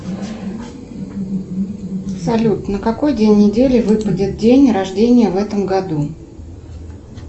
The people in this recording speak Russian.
салют на какой день недели выпадет день рождения в этом году